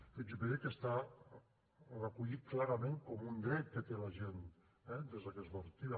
fixi’s bé que està recollit clarament com un dret que té la gent eh des d’aquesta perspectiva